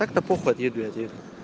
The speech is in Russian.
так то похуй отъеду и отъеду